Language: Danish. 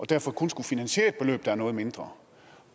derfor kun skulle finansiere et beløb der var noget mindre